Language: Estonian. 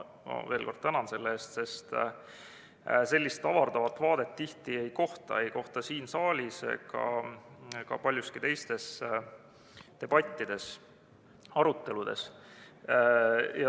Ma veel kord tänan selle eest, sest sellist avardavat vaadet tihti ei kohta, ei kohta siin saalis ega ka paljudes teistes debattides, aruteludes.